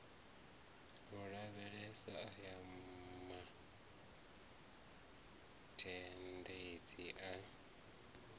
u lavhelesa aya mazhendedzi a